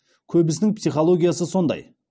көбісінің психологиясы сондай